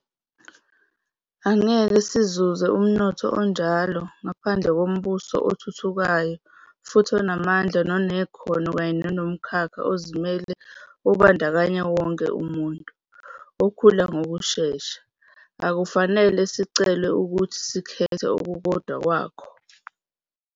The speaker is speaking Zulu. Angeke sizuze umnotho onjalo ngaphandle kombuso othuthukayo futhi onamandla nonekhono kanye nomkhakha ozimele obandakanya wonke umuntu, okhula ngokushesha. Akufanele sicelwe ukuthi sikhethe okukodwa kwakho.